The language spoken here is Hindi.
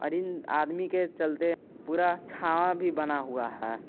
बिन आदमी के चलते पूरा छाव भी बना हुआ है।